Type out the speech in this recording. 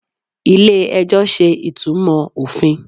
ilé ẹjọ ṣe ìtumò ofín